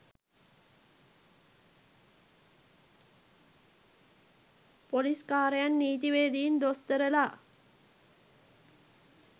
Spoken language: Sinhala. පොලිස් කාරයන් නීතිවේදීන් දොස්තරලා